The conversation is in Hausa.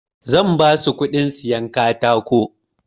Zan basu kuɗin sayan katako.